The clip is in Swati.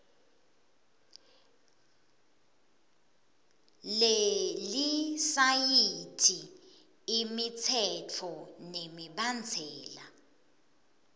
lelisayithi imitsetfo nemibandzela